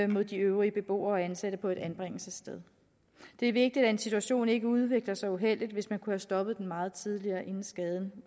mod de øvrige beboere og ansatte på et anbringelsessted det er vigtigt at en situation ikke udvikler sig uheldigt hvis man kunne have stoppet den meget tidligere inden skaden